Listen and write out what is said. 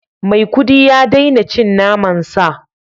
Maikudi ya daina cin naman sa